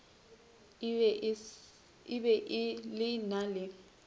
e be e na le